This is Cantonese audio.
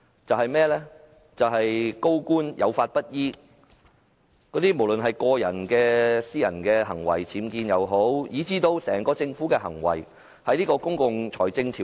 就是高官有法不依，無論是僭建等個人行為，還是政府整體行為；當局有否遵循《公共財政條例》？